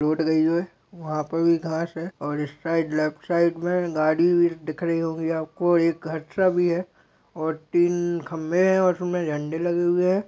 Road गयी है वहाँ पर भी घास है और इस साइड लेफ्ट साइड मे गाड़ी दिख रही होगी आपको और एक घटरा भी है और तीन खंबे है उसमे झंडे लगे हुए है।